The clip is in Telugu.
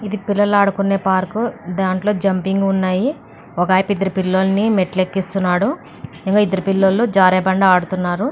ఇది పిల్లలు ఆడుకునే పార్కు దీంట్లోనే జంపింగ్ ఉన్నాయి ఒక ఆయన ఇద్దరు పిల్లల్ని మెట్లు ఎక్కిస్తున్నాడు ఇంకో ఇద్దరు పిల్లలు జారే బండ ఆడుతున్నారు.